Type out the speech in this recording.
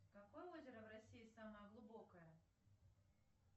какое озеро в россии самое глубокое